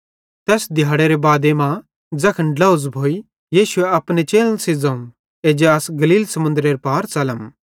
तैस दिहाड़ेरे बादे मां ज़ैखन ड्लोझ़ भोइ यीशुए अपने चेलन सेइं ज़ोवं एज्जा अस गलील समुन्दरेरे पार च़लम